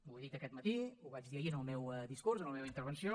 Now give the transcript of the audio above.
ho he dit aquest matí ho vaig dir ahir en el meu discurs en la meva intervenció